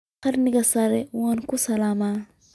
Karaaniga sare waa ku salaamay